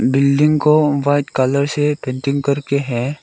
Building को white colour से painting करके है।